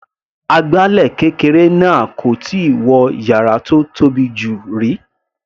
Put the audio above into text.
Agbálẹ̀ kékeré náà kò tíì wọ yàrá tó tóbi jù rí.